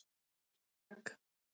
Magg